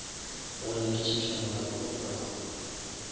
go nyakišiša molato wa polao